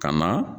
Ka na